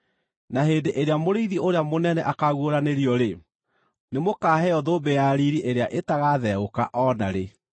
Na hĩndĩ ĩrĩa Mũrĩithi Ũrĩa Mũnene akaaguũranĩrio-rĩ, nĩmũkaheo thũmbĩ ya riiri ĩrĩa ĩtagatheũka o na rĩ.